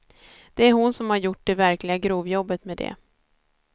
Det är hon som har gjort det verkliga grovjobbet med det.